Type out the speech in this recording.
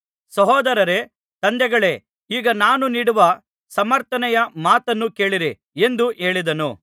ಸಹೋದರರೇ ತಂದೆಗಳೇ ಈಗ ನಾನು ನೀಡುವ ಸಮರ್ಥನೆಯ ಮಾತನ್ನು ಕೇಳಿರಿ ಎಂದು ಹೇಳಿದನು